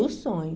No sonho.